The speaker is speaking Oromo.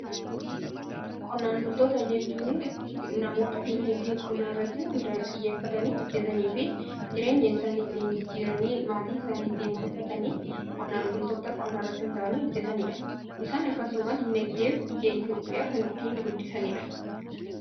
Qonnaan bultoota jechuun namoota dinagdee qonnaa irratti xiyyeeffatanii, hojjetanii fi jireenya isaanii ittiin jijjiiranii, maatii isaanii ittiin bulfatanii qonnaan bultoota qonnaa irratti hunda'anii hojjetanidha. Isaan akkasuma dinagdee biyya Itoophiyaa kan ittiin guddisaniidha.